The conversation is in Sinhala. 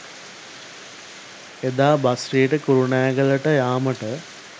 එදා බස්රියට කුරුණෑගලට යාමට